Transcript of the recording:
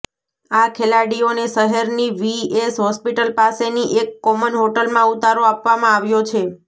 આ ખેલાડીઓને શહેરની વીએસ હોસ્પિટલ પાસેની એક કોમન હોટલમાં ઉતારો આપવામાં આવ્યો છે